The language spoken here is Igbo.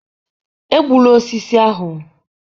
egbula osisi ahụ!